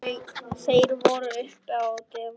Þeir voru uppi á devon.